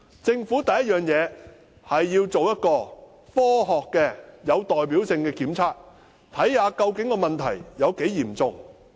政府首先要做一個科學且有代表性的檢測，看看問題究竟有多嚴重。